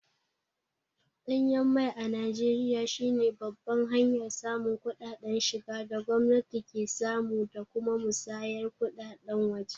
Danyen mai a Najeriya shi ne babban hanyar samun kuɗaɗen shiga da gwamnati ke samu da kuma musayar kuɗaɗen waje.